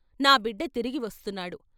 నా బిడ్డ తిరిగి వస్తున్నాడు.